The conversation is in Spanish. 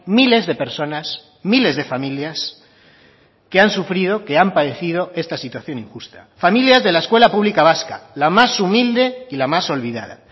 miles de personas miles de familias que han sufrido que han padecido esta situación injusta familias de la escuela pública vasca la más humilde y la más olvidada